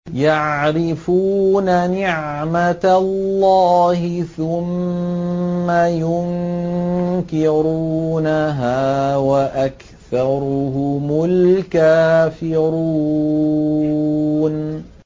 يَعْرِفُونَ نِعْمَتَ اللَّهِ ثُمَّ يُنكِرُونَهَا وَأَكْثَرُهُمُ الْكَافِرُونَ